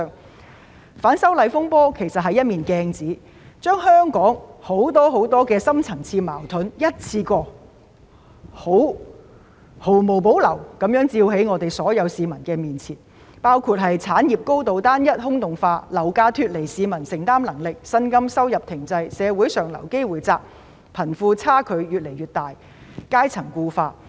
其實，反修例風波是一面鏡子，把香港很多深層次矛盾一次過毫無保留地照在所有市民面前，包括產業高度單一、空洞化，樓價脫離市民負擔能力，薪金收入停滯，社會上流機會減少，貧富差距越來越大，階層固化等。